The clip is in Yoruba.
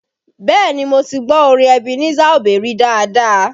Bẹẹ ni, mo ti gbọ́ orin Ebenezer Obey rí dáadáa